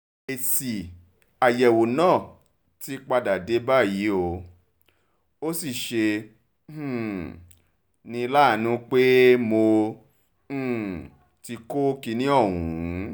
èsì àyẹ̀wò náà ti padà dé báyìí o ò sì ṣe um ní láàánú pé mo um ti kọ́ kínní ọ̀hún